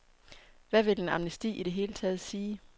Hvad vil en amnesti i det hele taget sige.